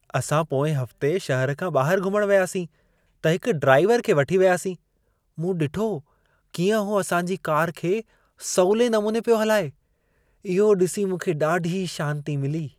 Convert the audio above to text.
असां पोएं हफ़्ते शहर खां ॿाहिर घुमण वियासीं, त हिक ड्राइवर खे वठी वियासीं। मूं ॾिठो कीअं हू असां जी कार खे सवले नमूने पियो हलाए। इहो ॾिसी मूंखे ॾाढी शांती मिली।